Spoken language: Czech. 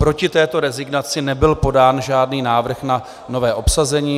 Proti této rezignaci nebyl podán žádný návrh na nové obsazení.